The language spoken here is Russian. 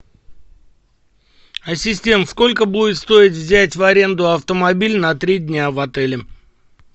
ассистент сколько будет стоить взять в аренду автомобиль на три дня в отеле